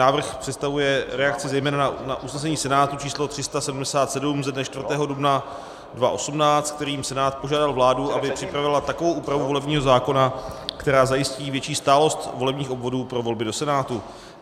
Návrh představuje reakci zejména na usnesení Senátu číslo 377 ze dne 4. dubna 2018, kterým Senát požádal vládu, aby připravila takovou úpravu volebního zákona, která zajistí větší stálost volebních obvodů pro volby do Senátu.